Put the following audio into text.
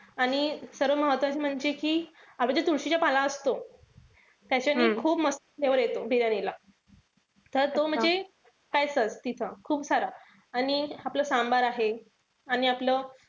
आणि सर्व महत्वाचे म्हणजे कि आपला जो तुळशीचा पाला असतो. त्याचेनि खूप मस्त flavor येतो बिर्याणीला. तर तो म्हणजे तिथं खूप सारा. आणि आपला सांभार आहे. आणि आपलं,